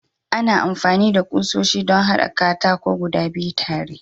Ana amfani da kusoshi don haɗa katako guda biyu tare.